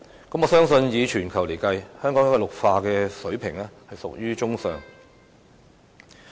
我相信以全球計算，香港的綠化水平已屬於中上。